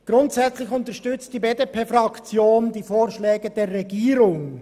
Grundsätzlich unterstützt die BDP-Fraktion die Vorschläge der Regierung.